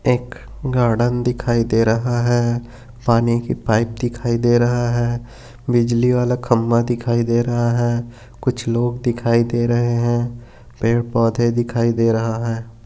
एक गार्डेन दिखाई दे रहा है पानी की पाइप दिखाई दे रहा है बिजली वाला खंबा दिखाई दे रहा है कुछ लोग दिखाई दे रहे है पेड़ पौधे दिखाई दे रहा है।